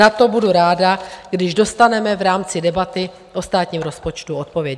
Na to budu ráda, když dostaneme v rámci debaty o státním rozpočtu odpověď.